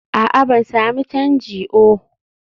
a'a, ban sami canji oh